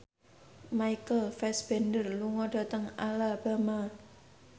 Michael Fassbender lunga dhateng Alabama